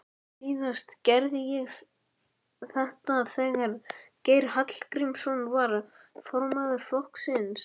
Síðast gerði ég þetta þegar Geir Hallgrímsson var formaður flokksins.